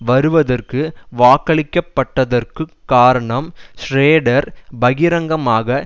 வருவதற்கு வாக்களிக்கப்பட்டதற்குக் காரணம் ஷ்ரோடர் பகிரங்கமாக